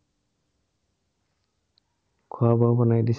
খোৱা-বোৱা বনাই দিছে।